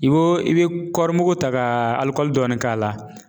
I bo i bɛ kɔɔrimugu ta ka alikɔli dɔɔni k'a la.